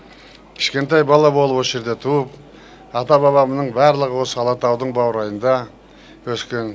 кішкентай бала болып осы жерде туып ата бабамның барлығы осы алатаудың баурайында өскен